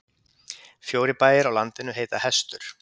Fjórir bæir á landinu heita Hestur.